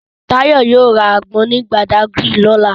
Tayo yóò ra àgbọn ní Badagry lọ́la